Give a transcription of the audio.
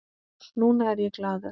Núna er ég glaður.